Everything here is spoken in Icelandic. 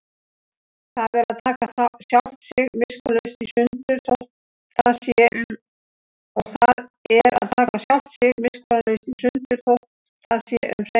Og það er að taka sjálft sig miskunnarlaust í sundur, þótt það sé um seinan.